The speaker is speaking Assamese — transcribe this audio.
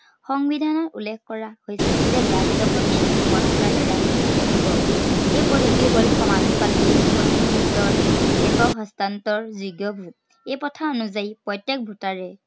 সংবিধানত উল্লেখ কৰা হৈছে যে ৰাষ্ট্ৰপতি গোপন vote ৰ দ্বাৰা নিৰ্বাচিত হব। এই পদ্ধতি হল সমানুপাতিক প্ৰতিনিধিত্বৰ একক হস্তান্তৰ । এই প্ৰথা অনুযায়ী প্ৰত্য়েক voter এই